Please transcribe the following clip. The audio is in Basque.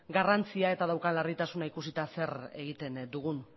garrantzia eta daukan larritasuna ikusita zer egiten dugun